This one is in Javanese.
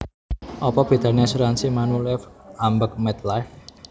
Opo bedane asuransi Manulife ambek MetLife?